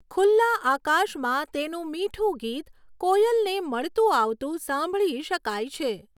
ખુલ્લા આકાશમાં તેનું મીઠું ગીત કોયલને મળતું આવતું સાંભળી શકાય છે.